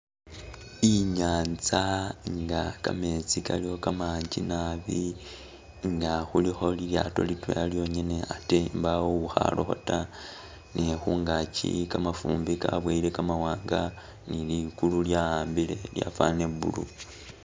Inyanza nga kametsi kaliwo kamanjii naabi nga khulikho lilyato litwela lyongene ate mbawo uwukhalekho taa nekhungachi kamafumbi kaboyile kamawanga ni liggulu lya'ambile lyafanile blue